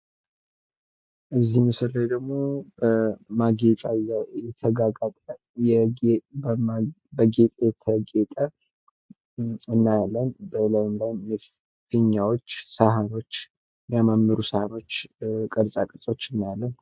ከዚህ ምስል ላይ ደግሞ በማጌጫ የተጊያጊያጠ በጌጥ ያጌጥ እናያለን። በላዩም ላይ ፊኛወች፤ ሳህኖች ፣ የሚያማምሩ ሳህኖች ፣ቅርጻ ቅርጾች እናያለን።